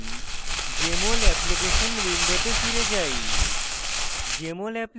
এখন jmol application window ফিরে যাই